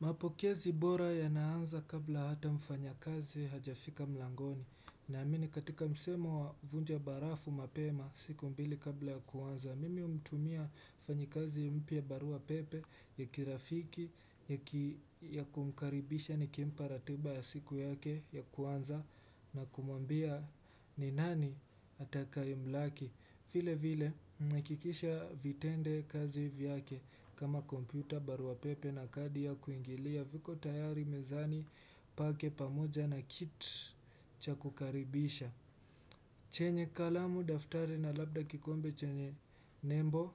Mapokezi bora ya naanza kabla hata mfanya kazi hajafika mlangoni na amini katika msemo wa vunja barafu mapema siku mbili kabla ya kuwanza Mimi humtumia mfanyikazi mpye barua pepe ya kirafiki ya kumkaribisha ni kimpa ratiba ya siku yake ya kuwanza na kumuambia ni nani atakaye mlaki vile vile mwakikisha vitende kazi vyake kama kompyuta, baruapepe na kadi ya kuingilia viko tayari mezani pake pamoja na kit cha kukaribisha. Chenye kalamu, daftari na labda kikombe chenye nembo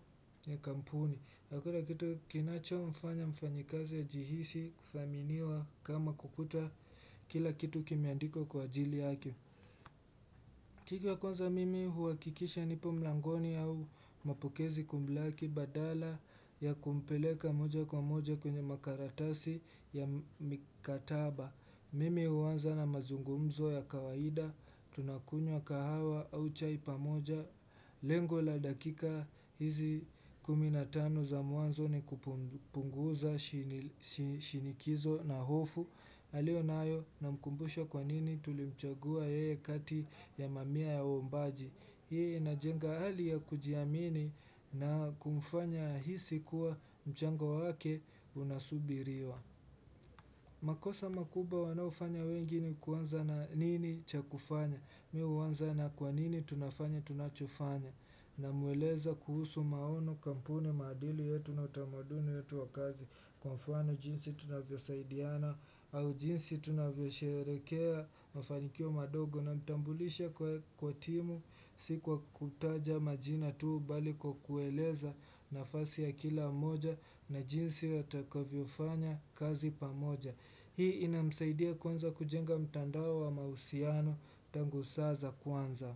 ya kampuni. Hakuna kitu kinacho mfanya mfanyikazi jihisi kuthaminiwa kama kukuta kila kitu kimeandikwa kwa ajili yake. Kika kwanza mimi huhakikisha nipo mlangoni au mapokezi kumlaki badala ya kumpeleka moja kwa moja kwenye makaratasi ya mikataba. Mimi huwanza na mazungumzo ya kawaida, tunakunywa kahawa au chai pamoja. Lengo la dakika hizi kumi na tano za mwanzo ni kupunguza shinikizo na hofu. Aliyonayo na mkumbusha kwa nini tulimchagua ye kati ya mamia ya ombaji. Hii inajenga hali ya kujiamini na kumfanya ahisi kuwa mchango wake unasubiriwa. Makosa makuba wanao fanya wengi ni kuanza na nini cha kufanya. Mimi huwanza na kwa nini tunafanya tunachofanya. Namueleza kuhusu maono kampuni madili yetu na utamaduni yetu wa kazi Kwa mfano jinsi tunavyo saidiana au jinsi tunavyo sherekea mafanikio madogo na mtambulisha kwa timu si kwa kutaja majina tuu bali kwa kueleza nafasi ya kila moja na jinsi yatakavyo fanya kazi pamoja. Hii ina msaidia kwanza kujenga mtandao wa mahusiano tangu saa za kwanza.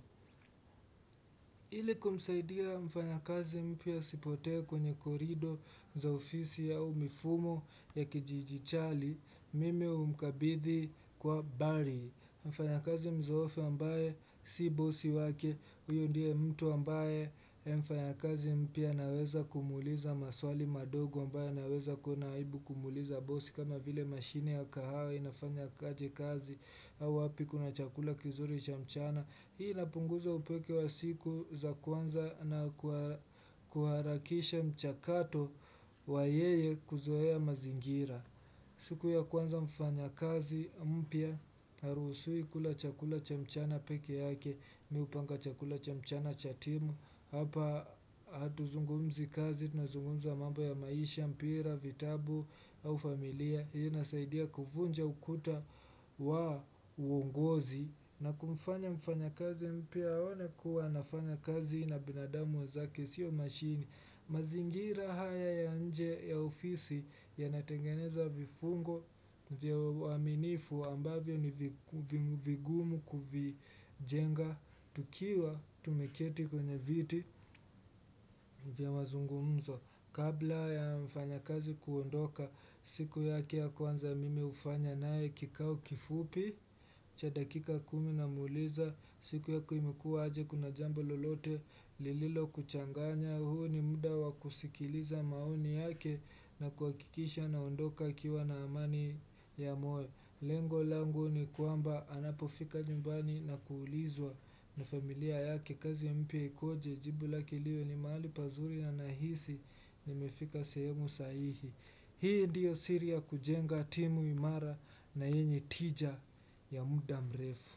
Ili kumsaidia mfanyakazi mpya asipote kwenye korido za ofisi ya umifumo ya kijijichali mimi humkabithi kwa bari mfanyakazi mzoofu ambaye si bosi wake uyo ndiye mtu ambaye mfanya kazi mpya naweza kumuliza maswali madogo ambaye naweza kuna haibu kumuliza bosi kama vile mashine ya kahawa inafanya kaji kazi au wapi kuna chakula kizuri cha mchana Hii inapunguza upeke wa siku za kwanza na kuharakisha mchakato wa yeye kuzoea mazingira siku ya kwanza mfanyakazi, mpya, harusiwi kula chakula cha mchana peke yake, mi hupanga chakula cha mchana cha timu Hapa hatu zungumzi kazi na zungumza mambo ya maisha, mpira, vitabu au familia ya nasaidia kuvunja ukuta wa uongozi na kumfanya mfanyakazi mpya aone kuwa anafanya kazi na binadamu wa zake sio mashini mazingira haya ya nje ya ofisi ya natengeneza vifungo vya waminifu ambavyo ni vigumu kuvijenga tukiwa tumeketi kwenye viti vya mazungumzo Kabla ya mfanya kazi kuondoka siku yake kwanza mimi hufanya naye kikao kifupi cha dakika kumi na muliza siku yako imekuwa aje kuna jambo lolote lililo kuchanganya huu ni muda wa kusikiliza maoni yake na kuhakikisha naondoka akiwa na amani ya moyo. Lengo langu ni kwamba anapofika nyumbani na kuulizwa na familia yake kazi mpya ikoje jibu lake liwe ni mahali pazuri na nahisi ni mefika sehemu saihi. Hii ndiyo siri ya kujenga timu imara na yenye tija ya muda mrefu.